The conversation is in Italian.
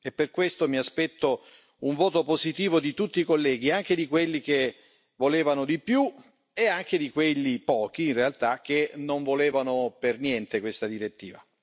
Per questo mi aspetto un voto positivo di tutti i colleghi, anche di quelli che volevano di più e anche di quelli pochi, in realtà che non volevano per niente questa direttiva.